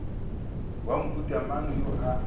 wa mohuta mang yo a